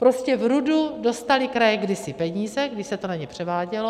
Prostě v RUDu dostaly kraje kdysi peníze, když se to na ně převádělo.